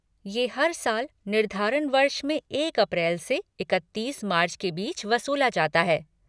ये हर साल निर्धारण वर्ष में एक अप्रैल से इकत्तीस मार्च के बीच वसूला जाता है।